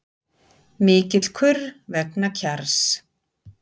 Mikill kurr vegna Kjarrs